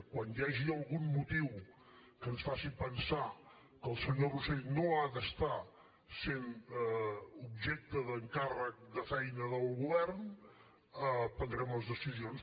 quan hi hagi algun motiu que ens faci pensar que el senyor rosell no ha de ser objecte d’encàrrec de feina del govern prendrem les decisions